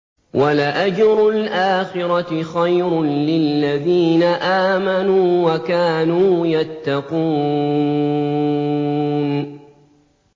وَلَأَجْرُ الْآخِرَةِ خَيْرٌ لِّلَّذِينَ آمَنُوا وَكَانُوا يَتَّقُونَ